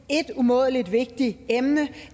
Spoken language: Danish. et umådelig vigtigt emne